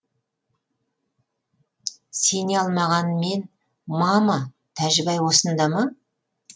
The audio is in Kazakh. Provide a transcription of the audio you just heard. сене алмаған мен мама тәжібай осында ма